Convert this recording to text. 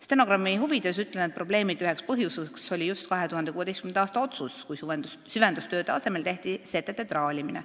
" Stenogrammi huvides ütlen, et probleemide üks põhjus oli just 2016. aasta otsus, kui süvendustööde asemel tehti setete traalimine.